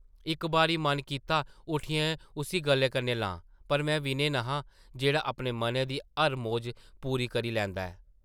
इक बारी मन कीता उट्ठियै उस्सी गले कन्नै लां पर में विनय न’हा जेह्ड़ा अपने मनै दी हर मौज पूरी करी लैंदा ऐ ।